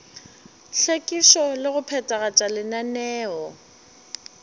hlwekišo le go phethagatša lenaneo